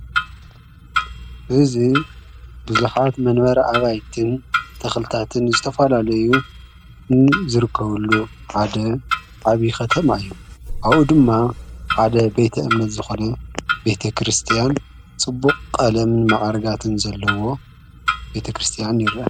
እዝ ብዙኃት መንበር ኣባይትን ተኽልታትን ዝተፋላለዩ ንዝርከወሉ ሓደዓብይ ኸተማ እዩ ኣኡ ድማ ሓደ ቤተ እምነት ዝኾነ ቤተ ክርስቲያን ጽቡቕ ቐለም መዓርጋትን ዘለዎ ቤተ ክርስቲያን ይረእ።